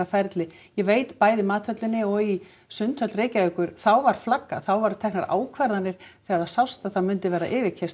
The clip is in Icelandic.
ferli ég veit bæði í Mathöllinni og í Sundhöll Reykjavíkjur þá var flaggað þá voru teknar ákvarðanir þegar það sást að það mundi verða